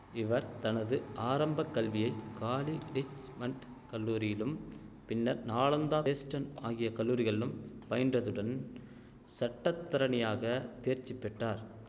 இவர் தனது ஆரம்பக்கல்வியை காலி ரிச் மண்ட் கல்லூரியிலும் பின்னர் நாலாந்தா தேஸ்டன் ஆகிய கல்லூரிகளிலும் பயின்றதுடன் சட்டத்தரணியாக தேர்ச்சி பெற்றார்